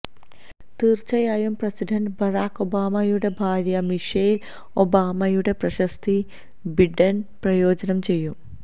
തീര്ച്ചയായും president Barack ഒബാമയുടെ ഭാര്യ മിഷേല് ഒബാമയുടെ പ്രശസ്തി ബിഡന് പ്രയോജനം ചെയ്യും